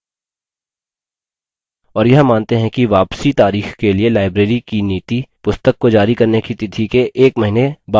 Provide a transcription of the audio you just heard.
और यह मानते हैं कि वापसी तारीख के लिए librarys की नीति पुस्तक को जारी करने की तिथि के एक महीने बाद की है